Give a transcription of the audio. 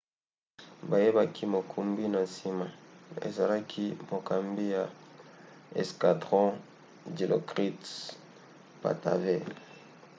bayebaki mokumbi na nsima ezalaki mokambi ya escadron dilokrit pattavee